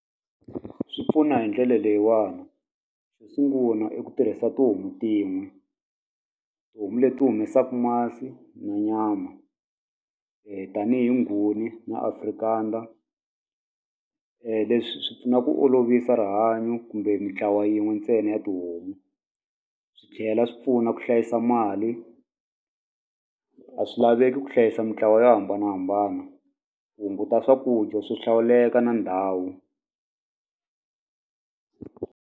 Swi pfuna hi ndlele leyiwana xo sungula i ku tirhisa tihomu tin'we tihomu leti humesaku masi ni nyama tanihi nguni na Afrikaner leswi swi pfuna ku olovisa rihanyo kumbe mitlawa yin'we ntsena ya tihomu swi tlhela swi pfuna ku hlayisa mali a swilaveki ku hlayisa mintlawa yo hambanahambana ku hunguta swakudya swo hlawuleka na ndhawu.